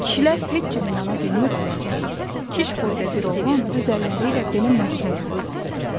Kişilər heç cür inana bilmirdilər ki, Kiş boyda bir oğlan öz əlləri ilə belə möcüzə yaradıb.